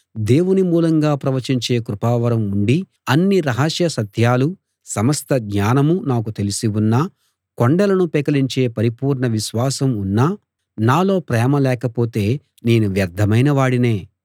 దేవుని మూలంగా ప్రవచించే కృపావరం ఉండి అన్ని రహస్య సత్యాలూ సమస్త జ్ఞానమూ నాకు తెలిసి ఉన్నా కొండలను పెకలించే పరిపూర్ణ విశ్వాసం ఉన్నా నాలో ప్రేమ లేకపోతే నేను వ్యర్ధమైన వాడినే